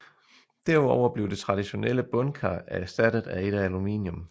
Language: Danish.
Derudover blev det traditionelle bundkar erstattet af et af aluminium